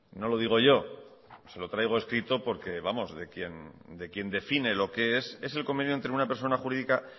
no lo digo yo se lo traigo escrito porque vamos de quien define es es el convenio entre una persona jurídica